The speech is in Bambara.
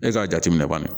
E k'a jateminɛ bani